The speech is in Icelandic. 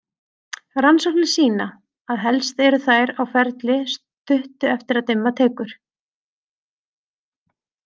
Rannsóknir sýna að helst eru þær á ferli stuttu eftir að dimma tekur.